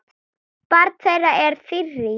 Barn þeirra er Þyrí.